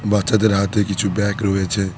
বাচ্চাদের হাতে কিছু ব্যাগ রয়েছে।